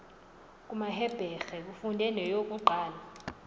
kumahebhere ufunde neyokuqala